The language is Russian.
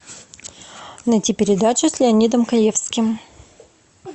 найти передачу с леонидом каневским